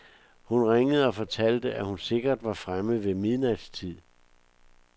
Hun ringede og fortalte, at hun sikkert var fremme ved midnatstid.